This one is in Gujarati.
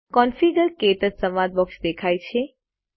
કોન્ફિગર - ક્ટચ સંવાદ બોક્સ દેખાય છે